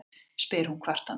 spyr hún kvartandi.